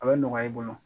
A bɛ nɔgɔya i bolo